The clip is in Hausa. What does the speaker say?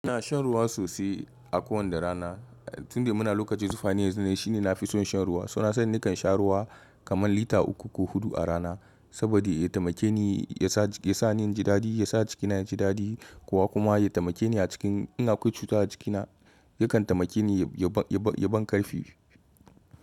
Ina shan ruwa sosai a kowanda rana. Tunda muna lokacin zufa ne yanzu ne shine na fi son shan ruwa. So na sani nakan sha ruwa kaman lita uku ko hudu a rana saboda ya taimake ni, ya sa ni in ji dadi, ya sa jikina ya ji dadi. Kowa kuma ya taimake ni a cikin in akwai cuta a jikina yakan taimake ni ya ban karfi.